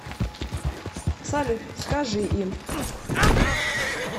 салют скажи им